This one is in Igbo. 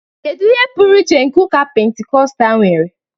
Kedu ihe pụrụ iche nke ụka Pentikọstal nwere?